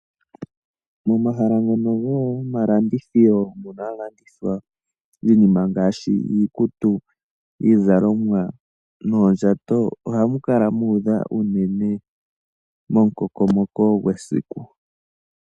Momahala ngono gomalandithilo mono hamu landithwa iinima ngaashi iikutu, iizalomwa noondjato oha mu kala muudha unene momukokomoko gwesiku.